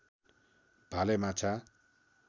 भाले माछा